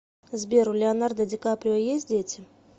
сбер у леонардо ди каприо есть дети